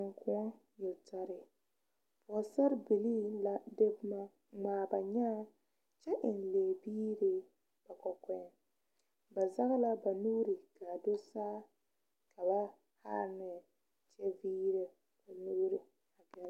Tenkoɔ yeltare pɔgesarre bilii la de boma ŋmaa ba nyaa kyɛ eŋ lɛgebiiri ba kɔkɔɛ ba zɛŋ la ba nuuri ka a do saa ka ba haa nyɛ kyɛ